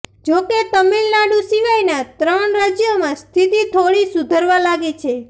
જોકે તામિલનાડુ સિવાયના ત્રણ રાજ્યોમાં સ્થિતિ થોડી સુધરવા લાગી છે